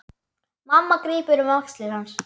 Mamma grípur um axlir hans.